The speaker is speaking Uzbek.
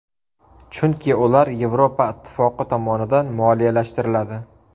Chunki ular Yevropa ittifoqi tomonidan moliyalashtiriladi.